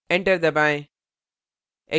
enter दबाएँ